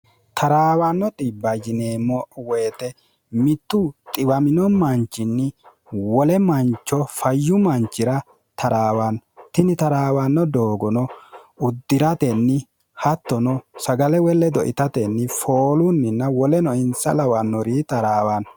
taraawanno xbbjineemmo woyite mittu xiwamino manchinni wole mancho fayyu manchira taraawanno tini taraawanno doogono uddi'ratenni hattono sagale woy ledo itatenni foolunninna woleno insa lawannori taraawanno